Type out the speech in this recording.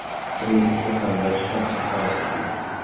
Uning ismi ham, yoshi ham soxtalashtirildi .